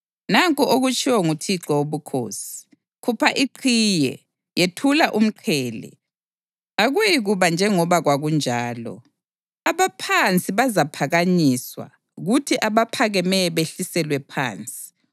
nanku okutshiwo nguThixo Wobukhosi: Khupha iqhiye, yethula umqhele. Akuyikuba njengoba kwakunjalo: Abaphansi bazaphakanyiswa kuthi abaphakemeyo behliselwe phansi.